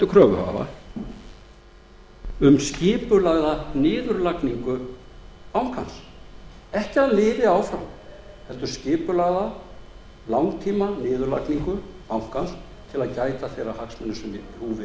kröfuhafa um skipulagða niðurlagningu bankans ekki að hann lifi áfram heldur skipulagða langtíma niðurlagningu bankans til að gæta þeirra hagsmuna sem í húfi eru